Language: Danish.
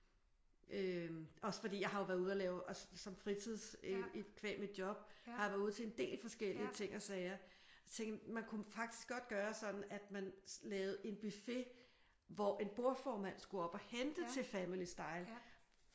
Øh også fordi jeg har jo været ude at lave også som fritids qua mit job har jeg været ude til en del forskellige ting og sager. Tænkte jeg man kunne faktisk godt gøre sådan at man lavede en buffet hvor en bordformand skulle op og hente til family style